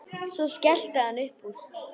Svo skellti hann upp úr.